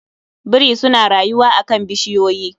Biri suna rayuwa a kan bishiyoyi